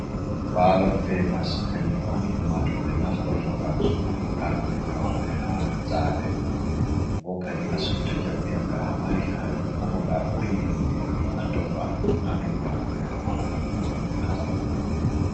Ballo£ papas kanju on ummatoje naftorton ngam subugo arɗibe mabbe. ha zabe non bo kadin a sutta jambi'yanga amari haje. ko bo nga a buri yiɗugo ni a tobba ha ɗau mago kadi non ɗon be naftorton.